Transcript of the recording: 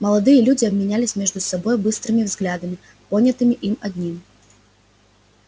молодые люди обменялись между собой быстрыми взглядами понятыми им одним